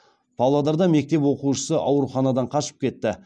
павлодарда мектеп оқушысы ауруханадан қашып кетті